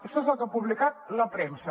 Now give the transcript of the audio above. això és el que ha publicat la premsa